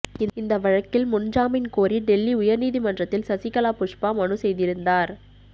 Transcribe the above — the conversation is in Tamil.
இந்த வழக்கில் முன் ஜாமீன் கோரி டெல்லி உயர்நீதிமன்றத்தில் சசிகலா புஷ்பா மனு செய்திருந்தார்